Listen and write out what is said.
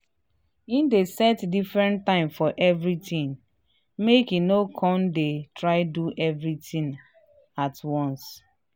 he dey set different time for everything make he no con dey try do everyhting at once.